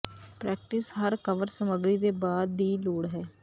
practice ਹਰ cover ਸਮੱਗਰੀ ਦੇ ਬਾਅਦ ਦੀ ਲੋੜ ਹੈ